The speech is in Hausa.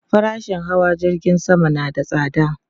Farashin hawa jirgin sama na da tsada